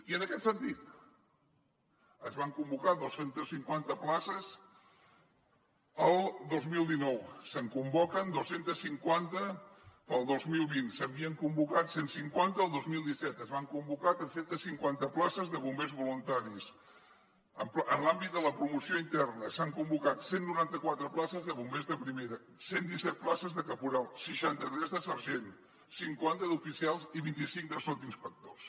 i en aquest sentit es van convocar dos cents i cinquanta places el dos mil dinou se’n convoquen dos cents i cinquanta pel dos mil vint se n’havien convocat cent i cinquanta el dos mil disset es van convocar tres cents i cinquanta places de bombers voluntaris en l’àmbit de la promoció s’han convocat cent i noranta quatre places de bombers de primera cent i disset places de caporal seixanta tres de sergent cinquanta d’oficials i vint cinc de sotsinspectors